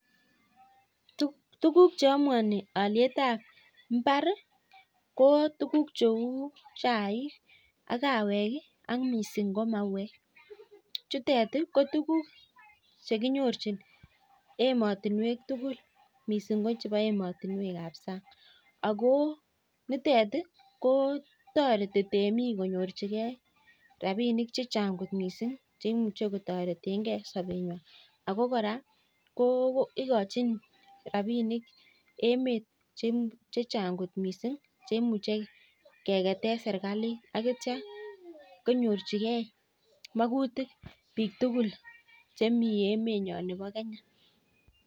Tuguk cheamwanii aliet ab imbar ko tuguk cheu chaik ak kawek chekinyorchin ematinwek tugul missing ko ematunwek ab sang ikachin rabinik emet chechang chekiketee serkalit